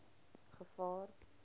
gevaar